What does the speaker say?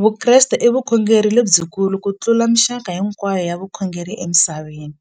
Vukreste i vukhongeri lebyikulu kutlula mixaka hinkwayo ya vukhongeri emisaveni,